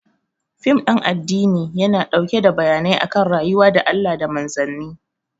Fim ɗin addini yana ɗauke da bayanai akan rayuwa da Allah da Manzanni